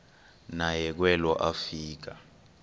naye kwelo afika